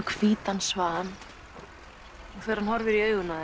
hvítan svan og þegar hann horfir í augun á